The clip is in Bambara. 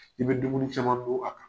I bɛ dumuni caman dun a kan.